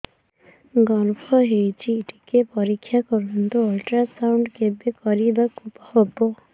ଗର୍ଭ ହେଇଚି ଟିକେ ପରିକ୍ଷା କରନ୍ତୁ ଅଲଟ୍ରାସାଉଣ୍ଡ କେବେ କରିବାକୁ ହବ